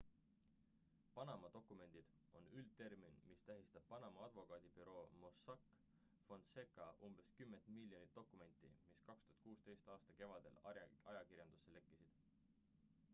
"""panama dokumendid" on üldtermin mis tähistab panama advokaadibüroo mossack fonseca umbes kümmet miljonit dokumenti mis 2016. aasta kevadel ajakirjandusse lekkisid.